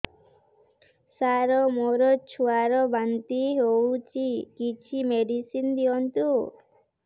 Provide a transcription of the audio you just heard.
ସାର ମୋର ଛୁଆ ର ବାନ୍ତି ହଉଚି କିଛି ମେଡିସିନ ଦିଅନ୍ତୁ